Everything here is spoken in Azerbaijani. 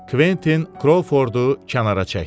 Kventin Krovfordu kənara çəkdi.